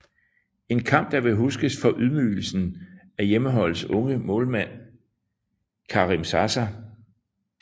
En kamp der vil huskes for ydmygelsen af hjemmeholdets unge målmand Karim Zaza